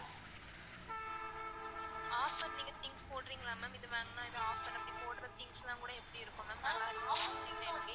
offer நீங்க things போடறீங்கல ma'am இது வாங்குனா இது offer அப்படி போட்ற things லான் கூட எப்படி இருக்கும் ma'am நல்லா இருக்குமா ma'am எப்படி